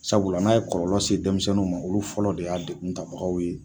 Sabula n'a ye kɔlɔlɔ se denmisɛnninw ma olu fɔlɔ de y'a degun tabagaw ye.